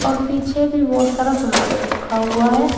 और पीछे भी बहुत सारा सामान रखा हुआ है।